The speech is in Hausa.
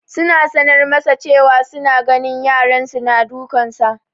Suna sanar masa cewa su na ganin yaran su na dukansa